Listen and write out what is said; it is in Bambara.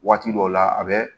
Waati dɔw la a bɛ